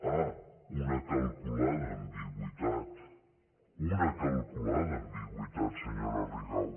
ah una calculada ambigüitat una calculada ambigüitat senyora rigau